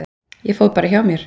Ég fór bara hjá mér.